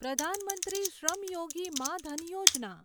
પ્રધાન મંત્રી શ્રમ યોગી માં ધન યોજના